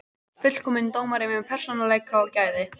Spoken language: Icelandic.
Fullkominn dómari með persónuleika og gæði.